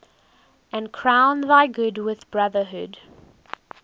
and crown thy good with brotherhood